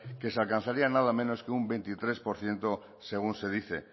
que se alcanzaría nada menos que un veintitrés por ciento según se dice